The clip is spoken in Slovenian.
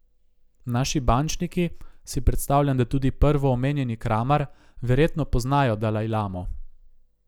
Naši bančniki, si predstavljam, da tudi prvoomenjeni Kramar, verjetno poznajo dalajlamo.